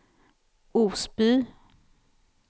Osby